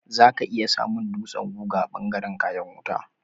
Za ka iya samun dutsen guga a ɓangaren kayan wuta.